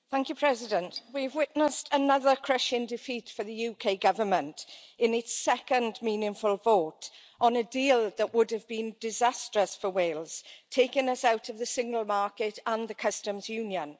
Madam President, we have witnessed another crushing defeat for the UK Government in its second meaningful vote on a deal that would have been disastrous for Wales, taking us out of the single market and the customs union.